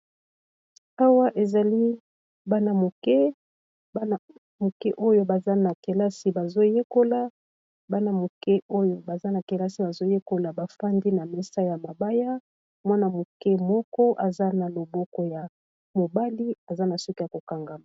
Awa ezali bana moke bana moke oyo baza na kelasi bazoyekola bana moke oyo baza na kelasi bazoyekola bafandi na mesa ya mabaya mwana moke moko aza na loboko ya mobali aza na suki ya ko kangama.